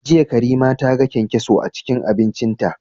Jiya Karima ta ga kyankyaso a cikin abincinta.